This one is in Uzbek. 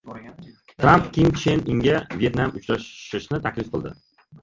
Tramp Kim Chen Inga Vyetnamda uchrashishni taklif qildi.